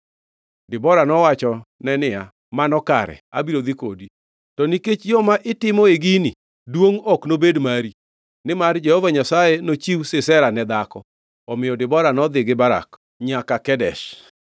Debora nowachone niya, “Mano kare, abiro dhi kodi. To nikech yo ma itimoe gini duongʼ, ok nobed mari, nimar Jehova Nyasaye nochiw Sisera ne dhako.” Omiyo Debora nodhi gi Barak nyaka Kedesh,